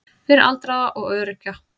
Fyrir aldraða og öryrkja.